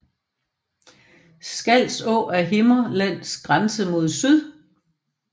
Skals Å er Himmerlands grænse mod syd